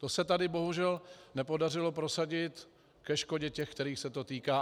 To se tady bohužel nepodařilo prosadit ke škodě těch, kterých se to týká.